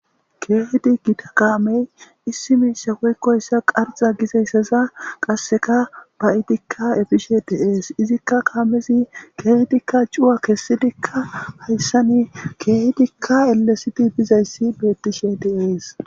Keehdi gita kaamey issi miisha woykkoyssa qarxa gizayssaza qasseka ba'idikka efishe deees izikka kaamezi keedikka cuwa kessidikka hayssani keehdikka ellesiti bizayssi bettishe deees.